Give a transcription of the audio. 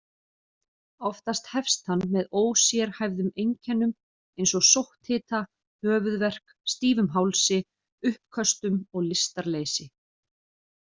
Oftast hefst hann með ósérhæfðum einkennum eins og sótthita, höfuðverk, stífum hálsi, uppköstum og lystarleysi.